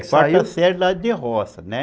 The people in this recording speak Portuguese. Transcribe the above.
É, quarta série lá de roça, né?